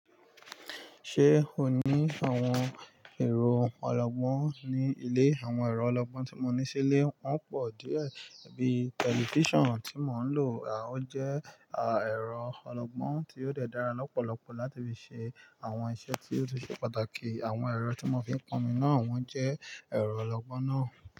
Ṣé o ní àwọn ẹ̀rọ ọlọ́gbọ́n ní ilé? Àwọn ẹ̀rọ ọlọ́gbọ́n tí mo ní sílé, wọ́n pọ̀ díẹ̀ bíi tẹlifíṣàn tí mò ń lò. Ó jẹ́ ẹ̀rọ ọlọ́gbọ́n tí ó de dára lọ́pọ̀lọpọ̀ láti fi ṣe àwọn iṣẹ́ tí ó ṣe pàtàkì. Àwọn ẹ̀rọ tí mò ń fi ponmi náà, wọ́n jẹ́ ẹ̀rọ ọlọ́gbọ́n náà.